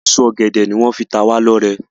Èso ògèdè ní wón fí ta wá ló rẹ.